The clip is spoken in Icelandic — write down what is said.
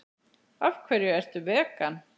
Af hverju ertu vegan?